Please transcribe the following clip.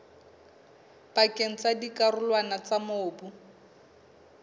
pakeng tsa dikarolwana tsa mobu